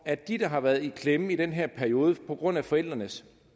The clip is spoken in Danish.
at de der har været i klemme i den her periode på grund af forældrenes